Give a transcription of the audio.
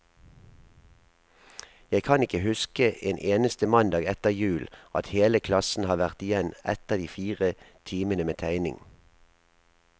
Jeg kan ikke huske en eneste mandag etter jul, at hele klassen har vært igjen etter de fire timene med tegning.